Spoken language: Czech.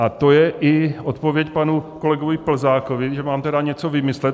A to je i odpověď panu kolegovi Plzákovi, že mám tedy něco vymyslet.